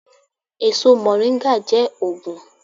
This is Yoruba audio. Èso Moringa jé òògùn.